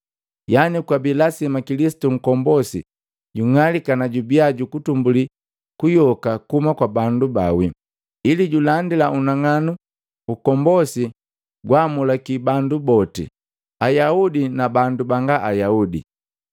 yani kwabi lasima Kilisitu Nkombosi jung'alika na jubia jukutumbuli kuyoka kuhuma kwa bandu baawi, ili julandila unang'anu ukombosi gwaamulaki bandu boti, Ayaudi na bandu banga Ayaudi.”